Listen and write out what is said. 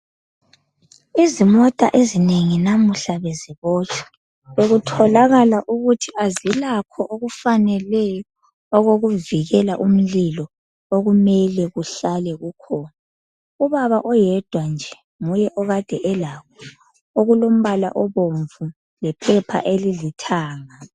Izimota ezinengi namuhla bezibotshwa, bekutholakala ukuthi azilakho okufaneleyo , okokuvikela umlilo okumele kuhlale kukhona. Ubaba oyedwa nje nguye okade elakho okulombala obomvu laphepha elilithanga.